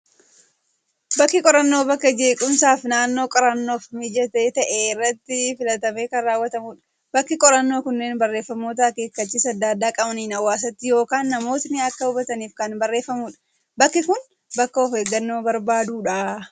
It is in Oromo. Bakki qorannoo, bakka jeequmsa fi naannoo qorannoof mijataa ta'e irratti filatamee kan raawwatamudha. Bakki qorannoo kunneen barreeffamoota akeekkachiisa addaa addaa qabaniin hawaasti yookaan namootni akka hubataniif kan barreeffamudha. Bakki Kun bakka of eeggannoo barbaadudha.